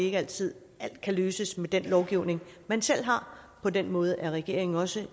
er altid at alt kan løses med den lovgivning man selv har på den måde er regeringen også